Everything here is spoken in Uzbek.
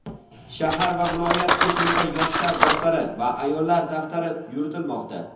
shahar va viloyat kesimida "yoshlar daftari" va "ayollar daftari" yuritilmoqda.